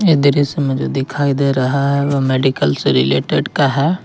ये दृश्य में से मुझे दिखाई दे रहा है वह मेडिकल से रिलेटेड का है।